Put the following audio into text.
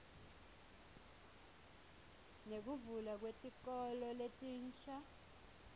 nekuvulwa kwetikolo letinsha